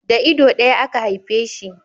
Da ido daya aka haife shi